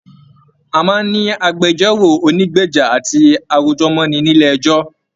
A máa n ní agbẹ̀jọ́ro ònígbeja àti arojọ̀mọni nílé ẹjọ.